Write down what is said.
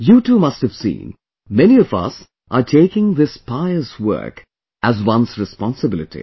You too must have seen, many of us are taking this pious work as their responsibility